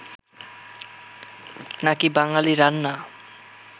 নাকি বাঙালি রান্না